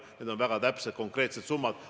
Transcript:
Need on väga täpsed, konkreetsed summad.